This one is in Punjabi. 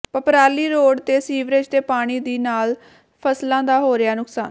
ਪਪਰਾਲੀ ਰੋਡ ਤੇ ਸੀਵਰੇਜ ਦੇ ਪਾਣੀ ਦੀ ਨਾਲ ਫਸਲਾਂ ਦਾ ਹੋ ਰਿਹਾ ਨੁਕਸਾਨ